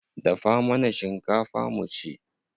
Dafa mana shinkafa mu ci.